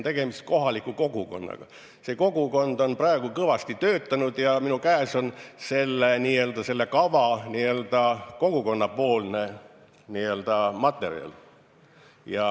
Tegemist on kohaliku kogukonnaga, kes on kõvasti töötanud ja minu käes on asjaomane kava, kogukonnapoolne materjal.